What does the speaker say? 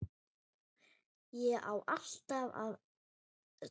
Ég á allt af öllu!